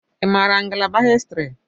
I maara ngalaba Histiri?